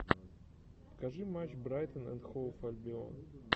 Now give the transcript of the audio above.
покажи матч брайтон энд хоув альбион